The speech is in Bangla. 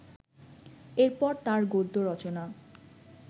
এর পর তাঁর গদ্য রচনা